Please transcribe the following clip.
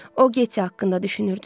O getti haqqında düşünürdü.